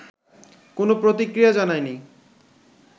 কোনো প্রতিক্রিয়া জানায়নি